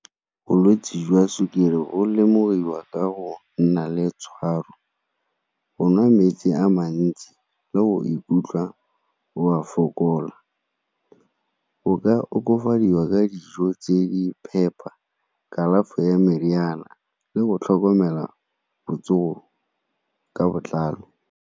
Bolwetse jwa sukiri bo lemogiwa ka go nna le tshwaro, go nwa metsi a mantsi le o ikutlwa o a fokola. O ka okafadiwa ka dijo tse di phepa, kalafi ya meriana le go tlhokomela botsogo ka botlalo.